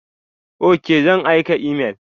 Ok, zan aika imel.